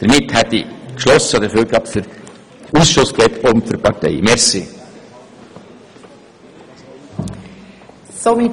Damit habe ich sowohl für den Ausschuss wie auch für die FDP gesprochen.